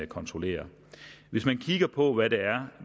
kontrollerer hvis man kigger på hvad det er